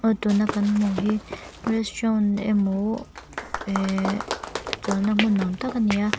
aw tuna kan hmuh hi restaurant emaw eh chawlhna hmun nuam tak ani a.